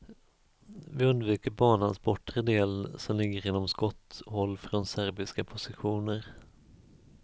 Vi undviker banans bortre del, som ligger inom skotthåll från serbiska positioner.